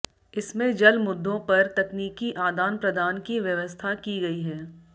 इसमें जल मुद्दों पर तकनीकी आदान प्रदान की व्यवस्था की गयी है